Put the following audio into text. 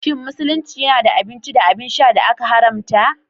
Shin Musulunci yana da abinci da abin sha da aka haramta?